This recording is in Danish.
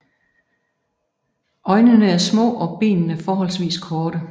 Øjnene er små og benene forholdsvis korte